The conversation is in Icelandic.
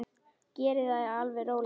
Verið þið alveg róleg.